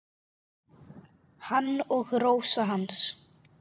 Hann og Rósa hans.